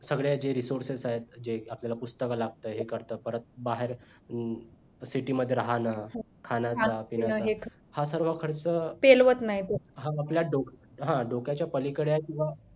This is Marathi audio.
सगळ्यांचे resources आहेत जे आपल्याला पुस्तक लागतं हे करतं परत बाहेर city मध्ये राहणं खाण्याचा पिण्याचं हा सर्व खर्च हा आपला डोकं हां डोक्याच्या पलीकडे आहे किंवा